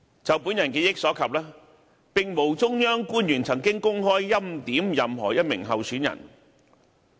就我記憶所及，並無中央官員曾公開"欽點"任何一名候選人。